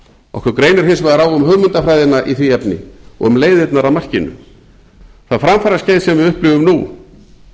okkur greinir hins vegar á um hugmyndafræðina að því efni og um leiðirnar að markinu það framfaraskeið sem við upplifum nú